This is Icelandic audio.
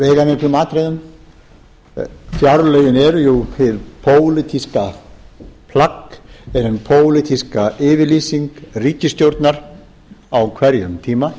veigamiklum atriðum fjárlögin eru jú hið pólitíska plagg er hin pólitíska yfirlýsing ríkisstjórnar á hverjum tíma